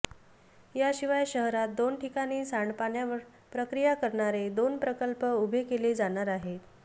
याशिवाय शहरात दोन ठिकाणी सांडपाण्यावर प्रक्रिया करणारे दोन प्रकल्प उभे केले जाणार आहेत